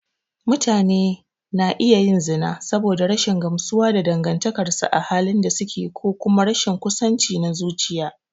Mutane na iya yin zina saboda rashin gamsuwa da dangantakarsu a halin da suke ko kuma rashin kusanci na zuciya.